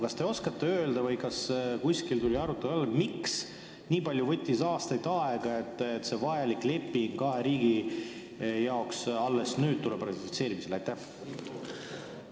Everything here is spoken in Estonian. Kas te oskate aga öelda või kas tuli arutelu alla, miks on see nii palju aastaid aega võtnud, et see kahele riigile vajalik leping alles nüüd ratifitseerimisele tuleb?